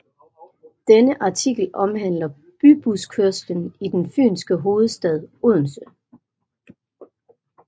Denne artikel omhandler bybuskørslen i den Fynske hovedstad Odense